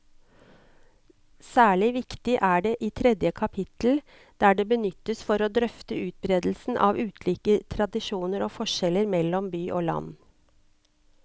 Særlig viktig er det i tredje kapittel, der det benyttes for å drøfte utbredelsen av ulike tradisjoner og forskjeller mellom by og land.